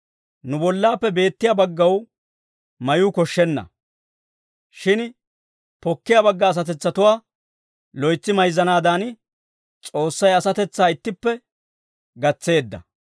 Nu bollaappe beettiyaa baggaw mayuu koshshenna; shin pokkiyaa bagga asatetsatuwaa loytsi mayzzanaadan, S'oossay asatetsaa ittippe gatseedda.